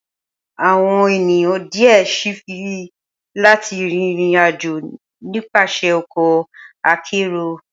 Awọn eniyan diẹ sii fẹ lati rin irin-ajo nipasẹ ọkọ akero.